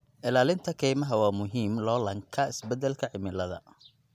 Ilaalinta kaymaha waa muhiim loolanka isbedelka cimilada.